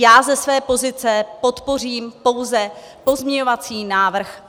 Já ze své pozice podpořím pouze pozměňovací návrh